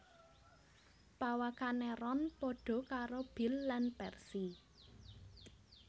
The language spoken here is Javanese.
Pawakané Ron padha karo Bill lan Percy